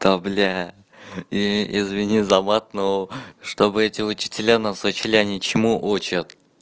та блядь и извини за мат ну чтобы эти учителя нас учили они чему учат